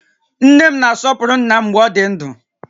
Nne m na-asọpụrụ ńnà m mgbè ọ dị ndụ